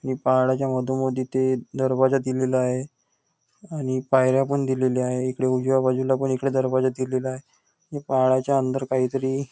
ये पाळण्याच्या मधोमध इथे दरवाजा दिलेला आहे आणि पायऱ्या पण दिलेले आहे इकडे उजव्या बाजुला पण इकडे दरवाजा दिलेला आहे व पाळण्याच्या अंदर काही तरी --